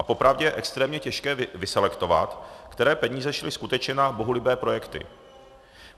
A popravdě je extrémně těžké vyselektovat, které peníze šly skutečně na bohulibé projekty.